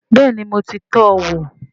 Bẹ́ẹ̀ni mo ti tọ́ wò